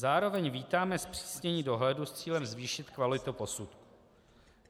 Zároveň vítáme zpřísnění dohledu s cílem zvýšit kvalitu posudků.